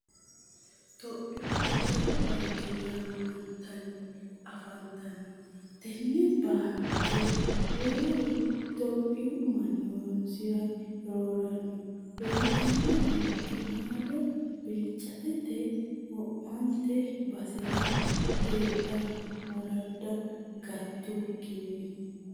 Tophiyu daddalu baanke yamamatenni afantano tene baanke rooru itophiyu manni horonsira roorano uyitano horono qiinado bilchattate wo'mante basera heedhano woradda gatukkinni.